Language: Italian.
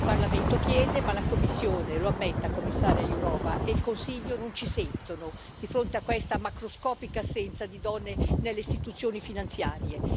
Il Parlamento chiede, ma la Commissione lo ammetta, Commissaria Jourová e il Consiglio non ci sentono, di fronte a questa macroscopica assenza di donne nelle istituzioni finanziarie.